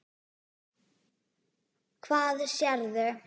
Hvað sérðu?